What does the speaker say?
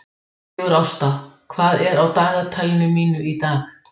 Sigurásta, hvað er á dagatalinu mínu í dag?